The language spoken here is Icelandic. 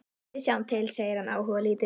Við sjáum til, segir hann áhugalítill.